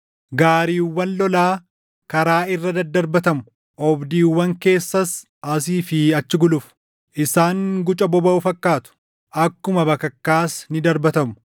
Gaariiwwan lolaa karaa irra dadarbatamu; oobdiiwwan keessas asii fi achi gulufu. Isaan guca bobaʼu fakkaatu; akkuma bakakkaas ni darbatamu.